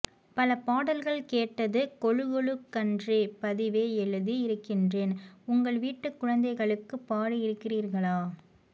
பல பாடல்கள் கேட்டது கொழு கொழு கன்றே பதிவே எழுதி இருக்கிறேன் உங்கள் வீட்டுக் குழந்தைகளுக்குப் பாடி இருக்கிறீர்களா